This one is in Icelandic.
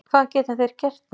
Hvað geta þeir gert mér?